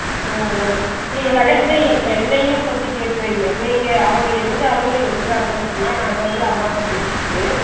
ஒவ் ஒவ் நீங்க எண்ணையும் பத்தி கேட்டு வைங்க நீங்க அவங்க எந்த அளவுல எடுக்குறாங்க சொன்ன நான் அந்த அளவுல அம்மாட்ட பேசிட்டு